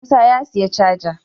Musa ya siya cajar